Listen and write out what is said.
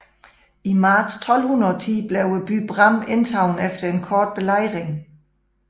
I marts 1210 blev byen Bram indtaget efter en kort belejring